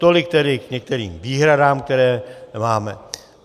Tolik tedy k některým výhradám, které máme.